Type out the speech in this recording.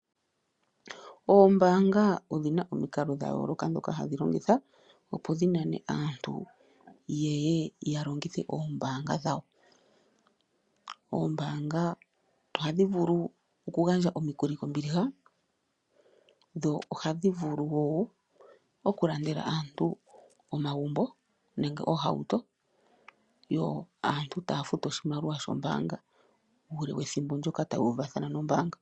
Oombaanga odhina omikalo dha yooloka ndhoka hadhi longitha opo dhi nane aantu ye ye ya longithe oombaanga dhawo. Ombaanga ohadhi vulu okugandja omikuli kombiliha dho ohadhi vulu wo okulandela aantu omagumbo nenge oohauto yo aantu taya futu oshimaliwa shombaanga uule wethimbo ndyoka taya uvathana nombaanga.